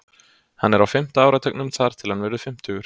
Hann er á fimmta áratugnum þar til hann verður fimmtugur.